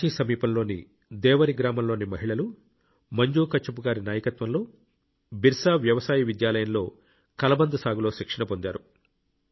రాంచీ సమీపంలోని దేవరి గ్రామంలోని మహిళలు మంజు కచ్ఛప్ గారి నాయకత్వంలో బిర్సా వ్యవసాయ విద్యాలయంలో కలబంద సాగులో శిక్షణ పొందారు